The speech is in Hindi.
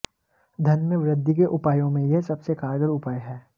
धन में वृद्धि के उपायों में यह सबसे कारगर उपाय है